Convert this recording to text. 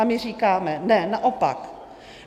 A my říkáme: Ne, naopak.